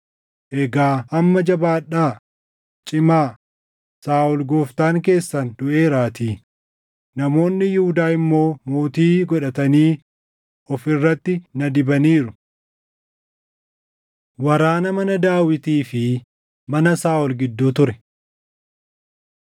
Egaa amma jabaadhaa; cimaa; Saaʼol gooftaan keessan duʼeeraatii; namoonni Yihuudaa immoo mootii godhatanii of irratti na dibaniiru.” Waraana Mana Daawitii fi Mana Saaʼol Gidduu Ture 3:2‑5 kwf – 1Sn 3:1‑4